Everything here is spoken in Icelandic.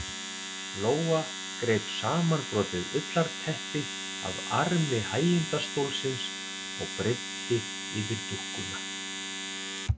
Lóa greip samanbrotið ullarteppi af armi hægindastólsins og breiddi yfir dúkkuna.